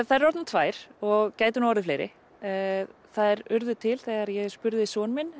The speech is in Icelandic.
þær eru orðnar tvær og gætu orðið fleiri þær urðu til þegar ég spurði son minn